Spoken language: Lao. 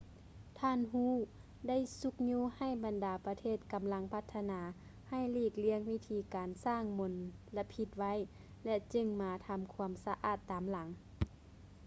ທ່ານ hu ໄດ້ຊຸກຍູ້ໃຫ້ບັນດາປະເທດກຳລັງພັດທະນາ ໃຫ້ຫຼີກລ້ຽງວິທີການທີ່ສ້າງມົນລະພິດໄວ້ ແລະ ຈຶ່ງມາທຳຄວາມສະອາດຕາມຫຼັງ